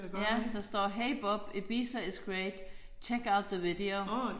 Ja der står hey Bob Ibiza is great check out the video